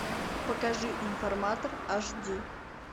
покажи информатор аш ди